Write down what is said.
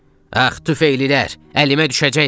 Əh, tüfeylilər, əlimə düşəcəksiniz!